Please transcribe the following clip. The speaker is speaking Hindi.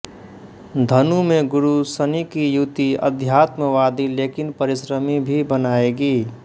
धनु में गुरु शनि की युति आध्यात्मवादी लेकिन परिश्रमी भी बनाएगी